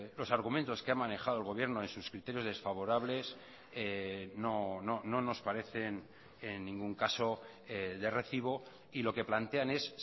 los argumentos que ha manejado el gobierno en sus criterios desfavorables no nos parecen en ningún caso de recibo y lo que plantean es